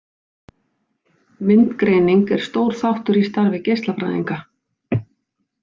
Myndgreining er stór þáttur í starfi geislafræðinga.